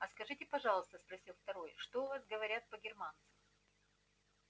а скажите пожалуйста спросил второй что у вас говорят про германцев